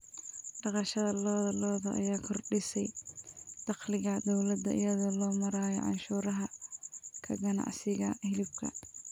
Dhaqashada lo'da lo'da ayaa kordhisay dakhliga dowladda iyadoo loo marayo canshuuraha ka ganacsiga hilibka.